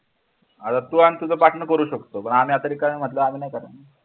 अरे तू आणि तुझा partner करू शकतो पण आम्ही आता रिकामे म्हटल्यवर आम्ही नाही करणार